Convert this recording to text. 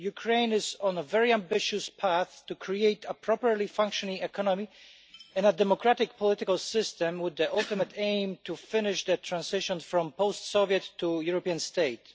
Ukraine is on a very ambitious path to create a properly functioning economy in a democratic political system with the ultimately aim to finish the transition from post Soviet to European state.